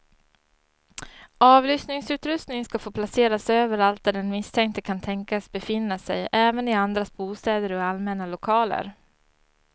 Avlyssningsutrustning ska få placeras överallt där den misstänkte kan tänkas befinna sig, även i andras bostäder och i allmänna lokaler.